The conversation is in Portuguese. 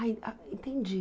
Aí ah, entendi.